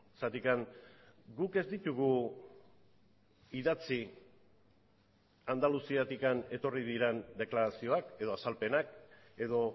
zergatik guk ez ditugu idatzi andaluziatik etorri diren deklarazioak edo azalpenak edo